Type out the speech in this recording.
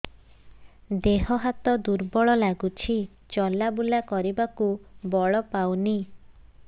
ଦେହ ହାତ ଦୁର୍ବଳ ଲାଗୁଛି ଚଲାବୁଲା କରିବାକୁ ବଳ ପାଉନି